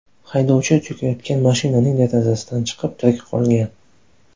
Haydovchi cho‘kayotgan mashinaning derazasidan chiqib, tirik qolgan.